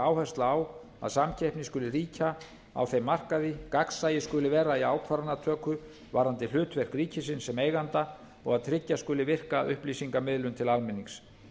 áhersla á að samkeppni skuli ríkja á þeim markaði gagnsæi skuli vera í ákvarðanatöku varðandi hlutverk ríkisins sem eiganda og að tryggja skuli virka upplýsingamiðlun til almennings